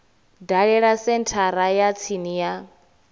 dalele senthara ya tsini ya